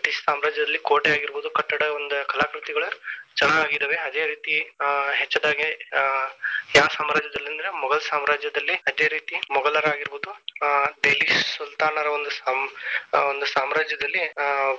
British ಸಾಮ್ರಾಜ್ಯದಲ್ಲಿ ಕೋಟೆ ಆಗಿರಬಹುದು ಕಟ್ಟಡ ಒಂದ ಕಲಾಕೃತಿಗೊಳ ಚೆನಾಗಿದಾವೆ. ಅದೇ ರೀತಿ ಹೆಚ್ಚಾದಗೆ ಅಹ್ ಯಾರ ಸಾಮ್ರಾಜ್ಯದಲ್ಲಿ ಅಂದ್ರೆ ಮೊಘಲ ಸಾಮ್ರಾಜ್ಯದಲ್ಲಿ ಅದೇ ರೀತಿ ಮೊಘಲರಾಗಿರಬಹುದು ಹ ದೆಹಲಿ ಸುಲ್ತಾನರು ಒಂದು ಸಾಮ~ ಸಾಮ್ರಾಜ್ಯದಲ್ಲಿ.